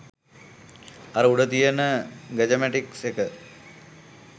අර උඩ තියෙන ගජමැටික්ස් එක